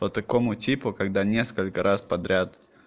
по какому типу когда несколько раз подряд